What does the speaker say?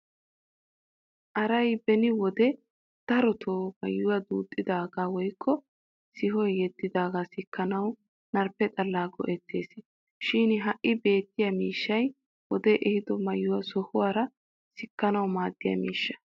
Aray beni wode darotoo maayoy duuxxidaagaa woykko sihoy yeddidaagaa sikkanaw narphphe xallaa go'ettes. Shi ha beettiya miishshay wodee ehido maayuwaa sohuwaara sikkanawu maaddiya miishsha.